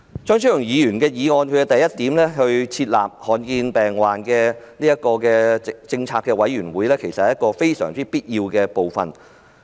張超雄議員的原議案第一點提出設立罕見疾病政策委員會，這實在有必要。